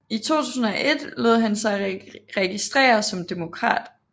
I 2001 lod han sig registrere som demokrat